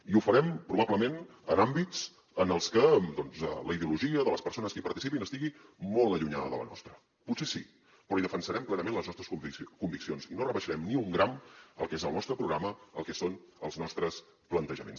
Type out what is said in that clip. i ho farem probablement en àmbits en els que doncs la ideologia de les persones que hi participin estigui molt allunyada de la nostra potser sí però hi defensarem plenament les nostres conviccions i no rebaixarem ni un gram el que és el nostre programa el que són els nostres plantejaments